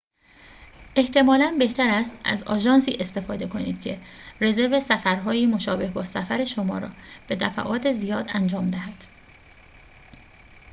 احتمالاً بهتر است از آژانسی استفاده کنید که رزرو سفرهایی مشابه با سفر شما را به دفعات زیاد انجام دهد